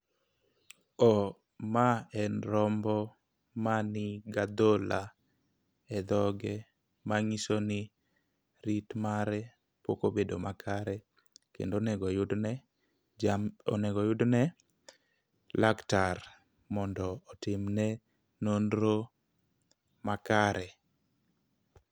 O ma en rombo ma niga dhola e dhoge mang'iso ni rit mare ok obedo makare, kendo onego yud ne jam onego yud ne laktar mondo otim ne nonro makare